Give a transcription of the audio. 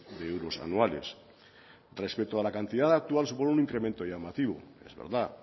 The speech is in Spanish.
de euros anuales respecto a la cantidad actual supone un incremento llamativo es verdad